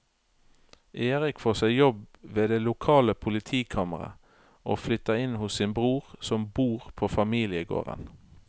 Erik får seg jobb ved det lokale politikammeret og flytter inn hos sin bror som bor på familiegården.